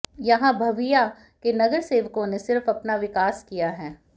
यहां बविआ के नगरसेवकों ने सिर्फ अपना विकास किया है